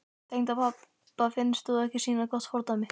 Tengdapabba finnst þú ekki sýna gott fordæmi.